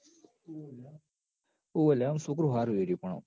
ઓવ લ્યા ઓમ સોકરું હારું એરયું પણ ઓમ